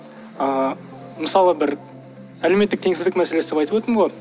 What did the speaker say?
ыыы мысалы бір әлеуметтік теңсіздік мәселесі деп айтып өттім ғой